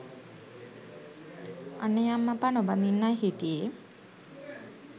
අනේ අම්මපා නොබදින්නයි හිටියේ